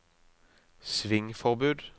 svingforbud